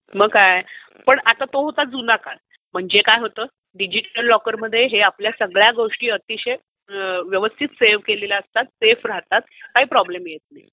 मग काय पण आता तो होतं जुना काळ. म्हणजे काय होतं, डिजिटल लॉकर मध्ये आपल्या सगळ्या गोष्टी अतिशय व्यवस्थित सेव्ह केलेल्या असतात, सेफ राहतात, काही प्रॉब्लेम येत नाही.